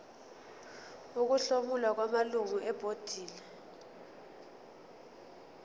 ukuhlomula kwamalungu ebhodi